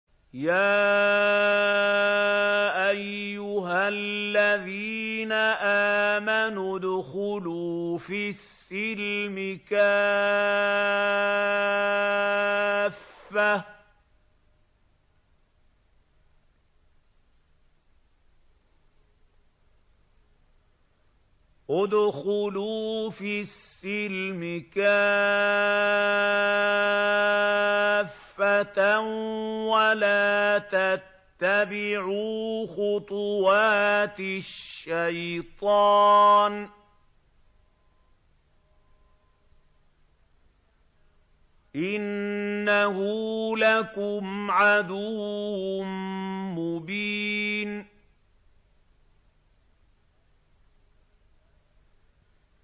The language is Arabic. يَا أَيُّهَا الَّذِينَ آمَنُوا ادْخُلُوا فِي السِّلْمِ كَافَّةً وَلَا تَتَّبِعُوا خُطُوَاتِ الشَّيْطَانِ ۚ إِنَّهُ لَكُمْ عَدُوٌّ مُّبِينٌ